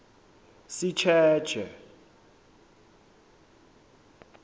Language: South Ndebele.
sitjetjhe